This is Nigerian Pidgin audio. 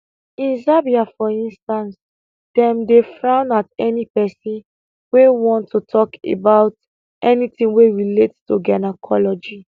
in zambia for instance dem dey frown at any pesin wey wan to talk about anything wey relate to gynaecology